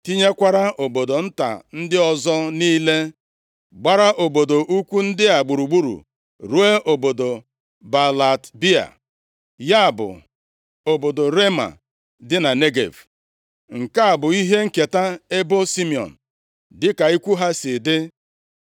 tinyekwara obodo nta ndị ọzọ niile gbara obodo ukwu ndị a gburugburu, ruo obodo Baalat-Bịa, ya bụ (obodo Rema dị na Negev). Nke a bụ ihe nketa ebo Simiọn dịka ikwu ha si dị.